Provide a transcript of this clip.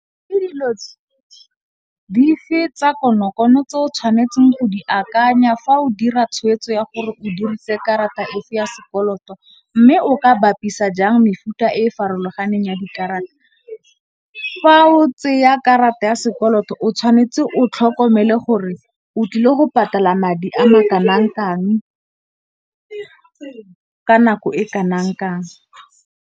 Ke dilo dife tsa konokono tse o tshwanetseng go di akanya fa o dira tshweetso ya gore o dirise karata e fe ya sekoloto, mme o ka bapisa jang mefuta e farologaneng ya dikarata. Fa o tseya karata ya sekoloto o tshwanetse o tlhokomele gore o tlile go patala madi a ma kanang kang, Ka nako e kanang kang.